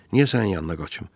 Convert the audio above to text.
Niyə sənin yanına qaçım?